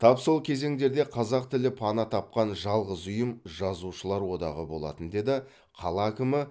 тап сол кезеңдерде қазақ тілі пана тапқан жалғыз ұйым жазушылар одағы болатын деді қала әкімі